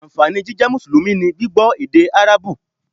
Ànfàní jíjẹ́ Mùsùlùmí ni gbígbọ́ èdè Árábù